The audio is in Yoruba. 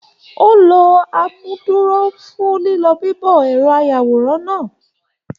O ló amúduró fún lilọ bibọ ẹrọ ayàwòrán náà.